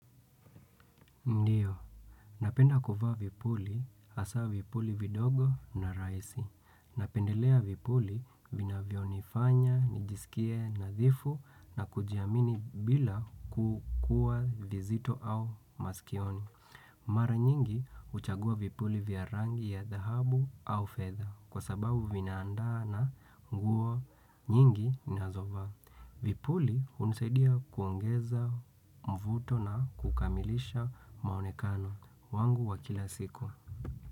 Ndiyo, napenda kuvaa vipuli hasa vipuli vidogo na rahisi. Napendelea vipuli vina vionifanya, nijisikie, nadhifu na kujiamini bila kukua vizito au maskioni. Mara nyingi huchagua vipuli vya rangi ya dhahabu au fedha kwa sababu vinaandaa na nguo nyingi ninazovaa. Vipuli hunisaidia kuongeza mvuto na kukamilisha mwonekano wangu wa kila siku.